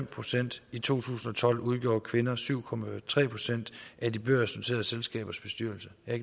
procent i to tusind og tolv udgjorde kvinder syv procent af de børsnoterede selskabers bestyrelser jeg